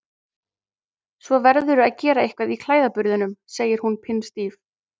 Svo verðurðu að gera eitthvað í klæðaburðinum, segir hún pinnstíf.